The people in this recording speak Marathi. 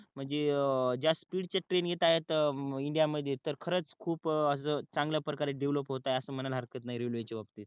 म्हणजे ज्या स्पीड च्या ट्रेन येत आहेत इंडिया मध्ये खरच खूप अस चांगल्या प्रकारे डेव्हलप होत आहे काही अस म्हणायला हरकत नाही रेल्वे च्या बाबतीत